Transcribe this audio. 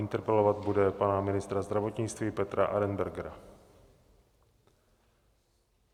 Interpelovat bude pana ministra zdravotnictví Petra Arenbergera.